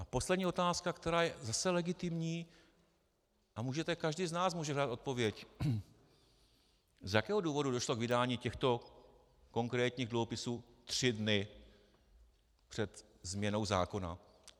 A poslední otázka, která je zase legitimní, a každý z nás může dát odpověď: Z jakého důvodu došlo k vydání těchto konkrétních dluhopisů tři dny před změnou zákona?